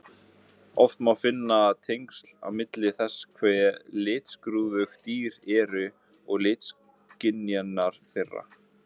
Oft má finna tengsl milli þess hve litskrúðug dýr eru og litaskynjunar þeirra.